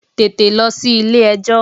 Tètè lọ sí ilé ẹjọ́!